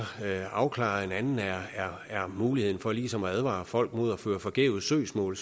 afklaret en anden er muligheden for ligesom at advare folk mod at føre forgæves søgsmål